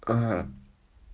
а